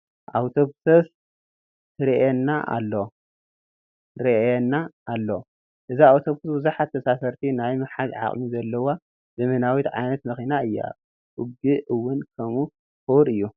ኣውቶቡስ ትርአየና ኣሎ፡፡ እዛ ኣውቶቡስ ብዙሓት ተሳፈርቲ ናይ ምሓዝ ዓቕሚ ዘለዋ ዘመናዊት ዓይነት መኪና እያ፡፡ ዋግአ እውን ከምኡ ክቡር እዩ፡፡